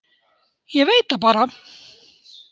Ég veit það bara.